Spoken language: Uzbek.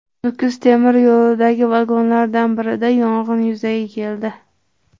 Nukus temir yo‘lidagi vagonlardan birida yong‘in yuzaga keldi.